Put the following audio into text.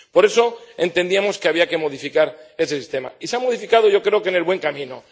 Por eso, entendíamos que había que modificar ese sistema y se ha modificado yo creo que en el buen camino.